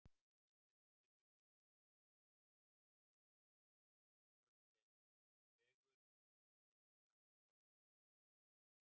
Í síðara tilvikinu eru undanskilin orðin leið, vegur eða eitthvert annað orð í svipaðri merkingu.